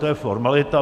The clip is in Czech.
To je formalita.